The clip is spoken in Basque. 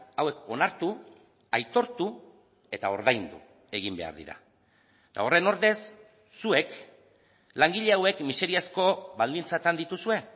hauek onartu aitortu eta ordaindu egin behar dira eta horren ordez zuek langile hauek miseriazko baldintzatan dituzue